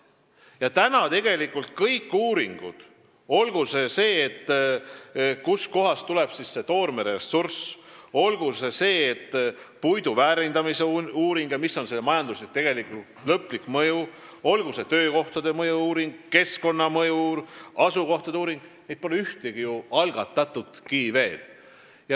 Praeguseks pole ju tegelikult ühtegi neist uuringutest – olgu see, kustkohast tuleb toormeressurss või puidu väärindamise ja selle lõpliku majandusliku mõju hinnang, või olgu töökohtade mõju-uuring, keskkonnamõju ja asukoha uuring – veel algatatudki.